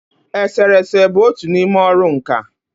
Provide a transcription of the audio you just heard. Esere ese bụ otu n'ime ọrụ nkà.